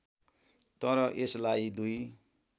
तर यसमा दुई